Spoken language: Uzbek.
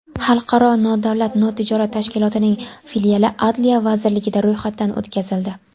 Xalqaro nodavlat notijorat tashkilotining filiali Adliya vazirligida ro‘yxatdan o‘tkazildi.